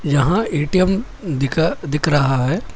यहां ए_टी_एम दिखा दिख रहा है।